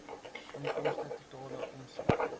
inkomste totale omset